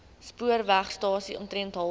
spoorwegstasie omtrent halfpad